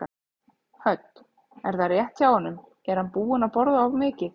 Hödd: Er það rétt hjá honum, er hann búinn að borða of mikið?